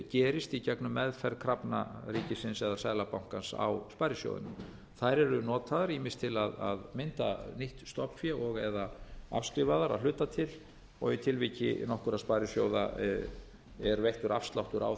gerist í gegnum meðferð krafna ríkisins eða seðlabankans á sparisjóðunum þær eru notaðar ýmist til að mynda nýtt stofnfé og eða afskrifa þær að hluta til og í tilviki nokkurra sparisjóða er veittur afsláttur á